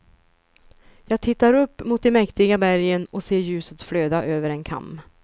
Jag tittar upp mot de mäktiga bergen och ser ljuset flöda över en kam.